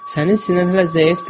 Sənin sinən hələ zəifdir.